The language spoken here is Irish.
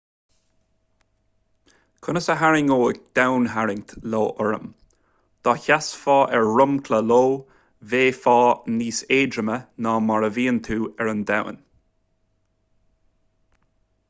conas a tharraingeodh domhantarraingt io orm dá seasfá ar dhromchla io bheifeá níos éadroime ná mar a bhíonn tú ar an domhan